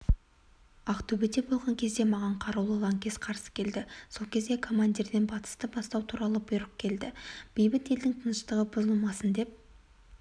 ақтөбеде болған кезде маған қарулы лаңкес қарсы келді сол кезде командирден атысты бастау туралы бұйрық келді бейбіт елдің тыныштығы бұзылмасын деп